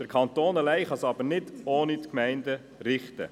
Der Kanton kann es aber nicht allein ohne die Gemeinden richten.